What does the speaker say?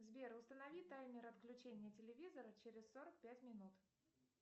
сбер установи таймер отключения телевизора через сорок пять минут